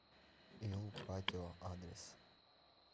ил патио адрес